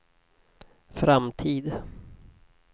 framtid